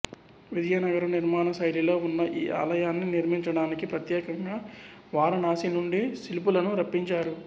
విజయనగర నిర్మాణ శైలిలో వున్న ఈ ఆలయాన్ని నిర్మించడానికి ప్రత్యేకంగా వారణాశి నుండి శిల్పులను రప్పించారు